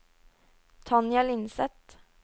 Tanja Lindseth